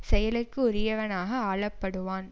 செயலுக்கு உரியவனாக ஆளப்படுவான்